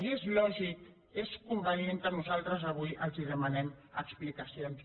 i és lògic és convenient que nosaltres avui els demanem explicacions